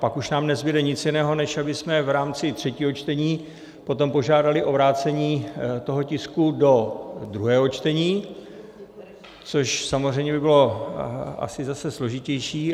Pak už nám nezbude nic jiného, než abychom v rámci třetího čtení potom požádali o vrácení toho tisku do druhého čtení, což samozřejmě by bylo asi zase složitější.